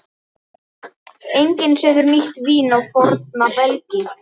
Enginn setur nýtt vín á forna belgi.